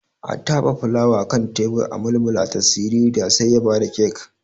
A tabe fulawa akan tebur a mulmulata siririya sai ya bada kek.